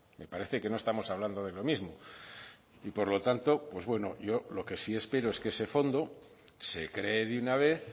me parece que no estamos hablando de lo mismo y por lo tanto pues bueno yo lo que sí espero es que ese fondo se cree de una vez